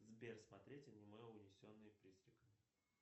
сбер смотреть аниме унесенные призраками